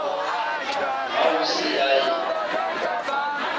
ha ho se ya e